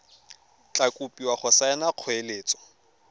tla kopiwa go saena kgoeletso